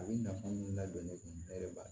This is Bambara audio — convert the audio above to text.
A bɛ nafa mun ladon ne kun ne yɛrɛ b'a